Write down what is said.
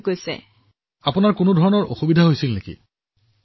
প্ৰধানমন্ত্ৰীঃ আপুনি কোনো ধৰণৰ অসুবিধাৰ সন্মুখীন হৈছে নেকি